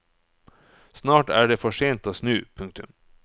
Snart er det for sent å snu. punktum